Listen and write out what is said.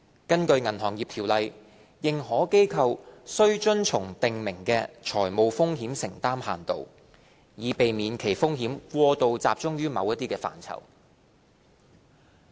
根據《銀行業條例》，認可機構須遵從訂明的財務風險承擔限度，以避免其風險過度集中於某些範疇。